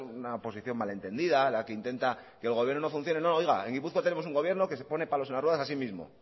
una oposición malentendida la que intenta que el gobierno no funcione oiga en gipuzkoa tenemos un gobierno que se pone palos en las ruedas así mismo